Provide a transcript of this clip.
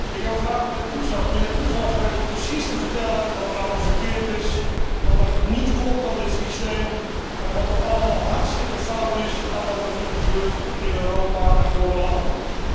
Ik heb een vraag aan mijnheer Toussas. Mijnheer Toussas weet precies te vertellen wat er allemaal verkeerd is, wat er niet klopt aan dit systeem en wat er allemaal hartstikke fout is aan wat er nu gebeurt in Europa en door de landen.